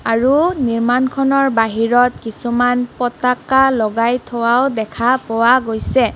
আৰু নিৰ্মাণখনৰ বাহিৰত কিছুমান পতাকা লগাই থোৱা দেখা পোৱা গৈছে।